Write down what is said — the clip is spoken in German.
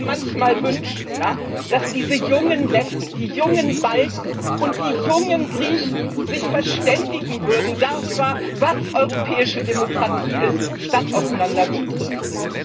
Ich würde mir manchmal wünschen, dass diese jungen Letten, die jungen Balten und die jungen Griechen sich darüber verständigen würden, was europäische Demokratie ist, statt auseinanderzudriften.